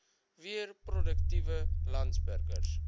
weer produktiewe landsburgers